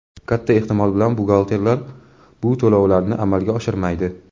katta ehtimol bilan buxgalterlar bu to‘lovlarni amalga oshirmaydi.